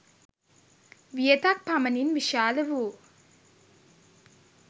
වියතක් පමණින් විශාල වූ